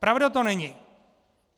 Pravda to není!